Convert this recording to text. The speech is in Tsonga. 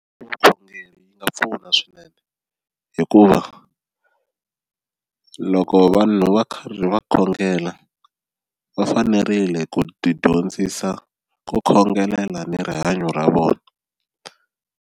Vukhongeri yi nga pfuna swinene hikuva loko vanhu va karhi va khongela va fanerile ku ti dyondzisa ku khongelela ni rihanyo ra vona.